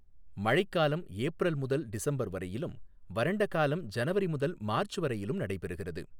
மழைக்காலம் ஏப்ரல் முதல் டிசம்பர் வரையிலும், வறண்ட காலம் ஜனவரி முதல் மார்ச் வரையிலும் நடைபெறுகிறது.